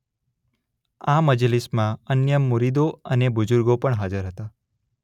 આ મજલિસમાં અન્ય મુરીદો અને બુઝુર્ગો પણ હાજર હતા.